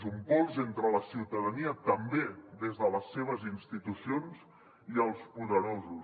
és un pols entre la ciutadania també des de les seves institucions i els poderosos